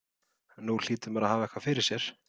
Nú hlýtur maðurinn að hafa eitthvað fyrir sér?